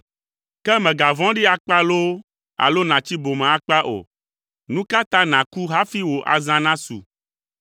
Ke mègavɔ̃ɖi akpa loo alo nàtsi bome akpa o! Nu ka ta nàku hafi wò azã nasu?